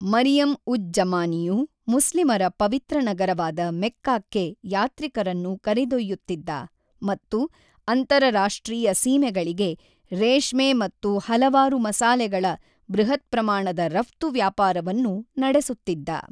ಮರಿಯಂ-ಉಜ್-ಜಮಾನಿಯು ಮುಸ್ಲಿಮರ ಪವಿತ್ರ ನಗರವಾದ ಮೆಕ್ಕಾಕ್ಕೆ ಯಾತ್ರಿಕರನ್ನು ಕರೆದೊಯ್ಯುತ್ತಿದ್ದ ಮತ್ತು ಅಂತರರಾಷ್ಟ್ರೀಯ ಸೀಮೆಗಳಿಗೆ ರೇಷ್ಮೆ ಮತ್ತು ಹಲವಾರು ಮಸಾಲೆಗಳ ಬೃಹತ್ಪ್ರಮಾಣದ ರಫ್ತು ವ್ಯಾಪಾರವನ್ನು ನಡೆಸುತ್ತಿದ್ದ.